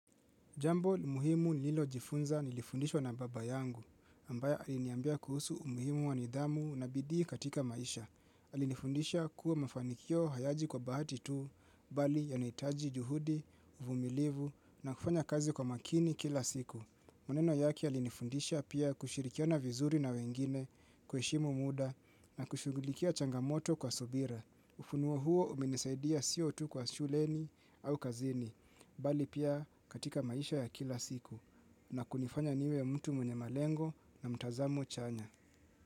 Jambo muhimu nililojifunza nilifundishwa na baba yangu, ambayo aliniambia kuhusu umuhimu wa nidhamu na bidii katika maisha. Alinifundisha kuwa mafanikio hayaji kwa bahati tu, bali yanahitaji juhudi, uvumilivu na kufanya kazi kwa makini kila siku. Maneno yake yalinifundisha pia kushirikiana vizuri na wengine kuheshimu muda na kushugulikia changamoto kwa subira. Ufunuo huo umenisaidia sio tu kwa shuleni au kazini, bali pia katika maisha ya kila siku na kunifanya niwe mtu mwenye malengo na mtazamo chanya.